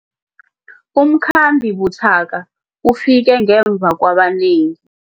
Umkhambi buthaka ufike ngemva kwabanengi.